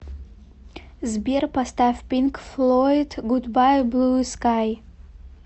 сбер поставь пинк флойд гудбай блу скай